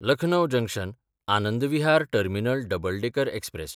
Lucknow जंक्शन–आनंद Vihar terminal double decker express